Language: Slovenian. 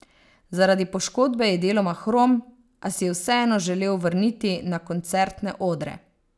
Zaradi poškodbe je deloma hrom, a si je vseeno želel vrniti na koncertne odre.